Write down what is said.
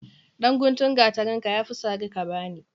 Dan guntun gatarinka yafi sari kabani.